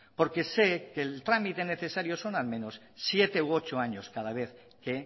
porque sé que el trámite necesario son al menos siete u ocho años cada vez que